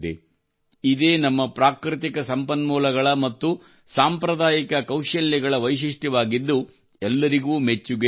ಇದೇ ನಮ್ಮ ಪ್ರಾಕೃತಿಕ ಸಂಪನ್ಮೂಲಗಳ ಮತ್ತು ಸಾಂಪ್ರದಾಯಿಕ ಕೌಶಲ್ಯಗಳ ವೈಶಿಷ್ಟ್ಯವಾಗಿದ್ದು ಎಲ್ಲರಿಗೂ ಮೆಚ್ಚುಗೆಯಾಗುತ್ತಿದೆ